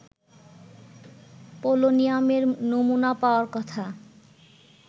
পোলোনিয়ামের নমুনা পাওয়ার কথা